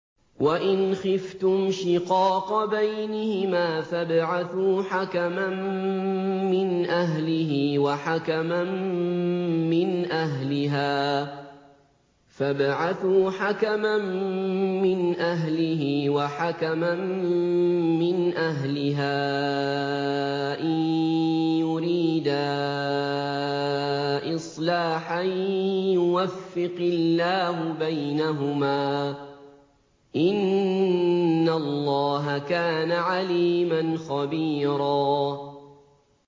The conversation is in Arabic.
وَإِنْ خِفْتُمْ شِقَاقَ بَيْنِهِمَا فَابْعَثُوا حَكَمًا مِّنْ أَهْلِهِ وَحَكَمًا مِّنْ أَهْلِهَا إِن يُرِيدَا إِصْلَاحًا يُوَفِّقِ اللَّهُ بَيْنَهُمَا ۗ إِنَّ اللَّهَ كَانَ عَلِيمًا خَبِيرًا